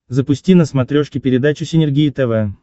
запусти на смотрешке передачу синергия тв